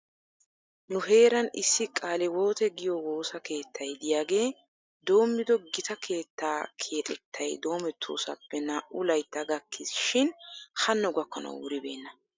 Nu heeran issi qaaliwote giyoo woosa keettay de'iyaagee doommido gita keettaa keexettay doomettoosappe naa'u laytta gakkis shin hanno gakkanaw wuribeena.